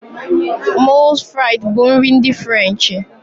Moules Frites bụ nri ndi Ferenchi